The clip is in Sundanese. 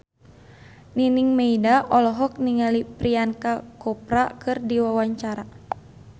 Nining Meida olohok ningali Priyanka Chopra keur diwawancara